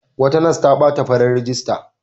Wata nas ta ɓata farar rigarta.